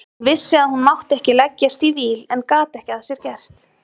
Hún vissi að hún mátti ekki leggjast í víl en gat ekki að sér gert.